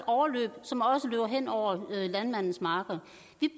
overløb som også løber hen over landmændenes marker